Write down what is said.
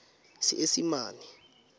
seesimane